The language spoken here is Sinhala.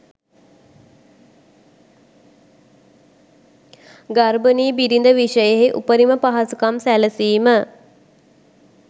ගර්භනී බිරිඳ විෂයෙහි උපරිම පහසුකම් සැලසීම